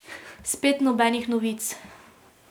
Spet nobenih novic.